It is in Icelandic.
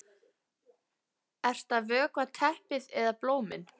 Ert að vökva teppið eða blómin?